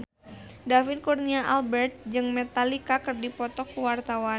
David Kurnia Albert jeung Metallica keur dipoto ku wartawan